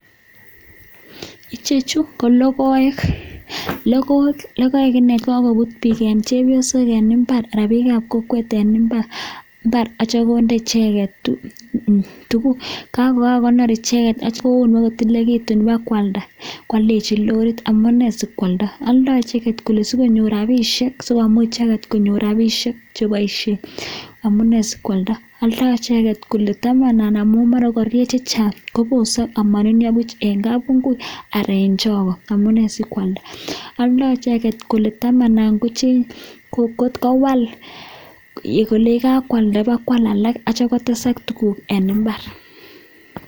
ichechuuu ko logoeeek chekakopuut chepyosok eng imbaar amun aldai sikopiit konyuur rapisheek amunen sikwalda ko aldaii sikopit manunyaa eng imbar ako aldai sikopit tamana kowal sikwal alak atatyeem kochanga tuguk eng imbar